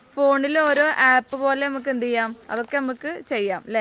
നമുക്കൊക്കെ ഫോണിൽ ഒരു ആപ്പ് പോലെ നമുക്ക് എന്തു ചെയ്യാം അതൊക്കെ നമുക്ക് ചെയ്യാം അല്ലേ